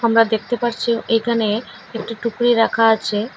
আমরা দেখতে পারছি এখানে একটি টুকরি রাখা আছে।